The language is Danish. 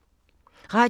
Radio 4